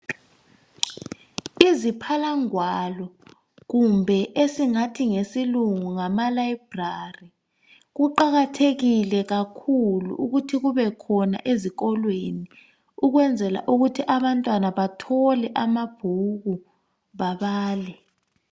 Iziphalangwalo kumbe esingathi ngesilungu ngama library kuqakathekile kakhulu ukuthi kubekhona ezikolweni ukwenzela ukuthi abantwana bathole amabhuku babale.